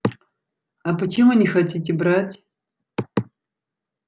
а почему не хотите брать